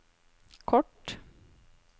kort